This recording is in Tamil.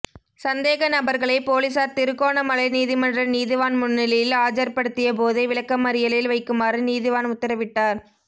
சந்தேக நபர்களை பொலிஸார் திருகோணமலை நீதிமன்ற நீதிவான் முன்னிலையில் ஆஜர்படுத்திய போதே விளக்கமறியலில் வைக்குமாறு நீதிவான் உத்தரவிட்டார்